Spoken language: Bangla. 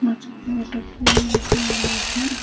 মাঝখানে একটা ফুল মতোন রয়েছে।